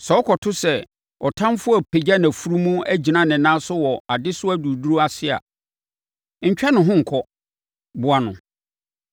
Sɛ wokɔto sɛ wo ɔtamfoɔ repagya nʼafunumu agyina ne nan so wɔ adesoa duruduru ase a, ntwa ne ho nkɔ. Boa no.